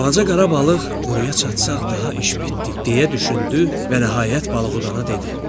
Balaca qara balıq quruya çatsaq daha iş bitdi deyə düşündü və nəhayət balıqdana dedi: